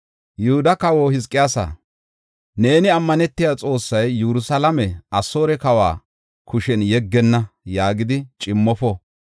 “Yihuda kawa Hizqiyaasa, neeni ammanetiya Xoossay, ‘Yerusalaame Asoore kawa kushen yeggenna’ yaagidi cimmofo.